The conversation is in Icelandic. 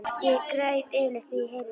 Ég græt yfirleitt þegar ég heyri það.